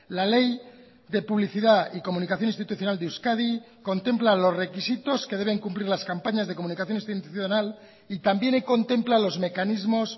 la ley de publicidad y comunicación institucional de euskadi contempla los requisitos que deben cumplir las campañas de comunicación institucional y también contempla los mecanismos